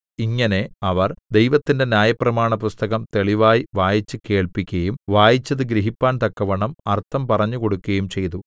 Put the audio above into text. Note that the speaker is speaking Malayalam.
ഇങ്ങനെ അവർ ദൈവത്തിന്റെ ന്യായപ്രമാണപുസ്തകം തെളിവായി വായിച്ചുകേൾപ്പിക്കയും വായിച്ചത് ഗ്രഹിപ്പാൻ തക്കവണ്ണം അർത്ഥം പറഞ്ഞുകൊടുക്കയും ചെയ്തു